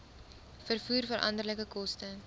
vervoer veranderlike koste